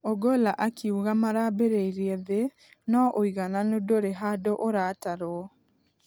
Ogolla akĩuga maraamberĩria thĩ nũ ũigananu ndũrĩhandũ ũratarwo.